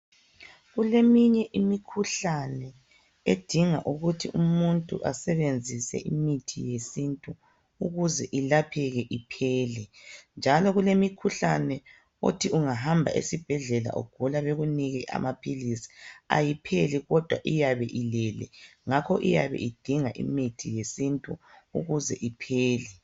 Kuleminye imikhuhlane edinga ukuthi umuntu asebenzise imithi yesintu ukuze ilapheke iphele, njalo kulemikhuhlane othi ungahamba esibhedlela ugula bekunike amaphilisi, ayipheli kodwa iyabe ilele ngakho iyabe idinga imithi yesintu ukuze iphele.